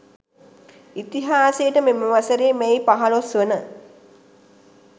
ඉතිහාසයට මෙම වසරේ මැයි 15 වන